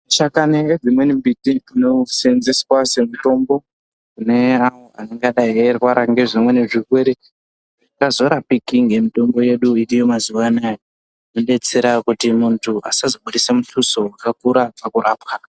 Chakani ngedzimweni mbiti dzinoseenzeswe semutombo neanenge eirwara ngezvimweni zvirwere zvisikazorapiki ngemitombo yedu iriyo mazuwa anaya, zvinodetsera kuti muntu asazobudise mutuso wakakura pakurapwa.